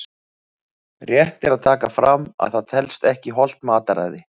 Rétt er að taka fram að það telst ekki hollt mataræði!